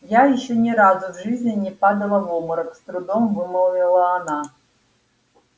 я ещё ни разу в жизни не падала в обморок с трудом вымолвила она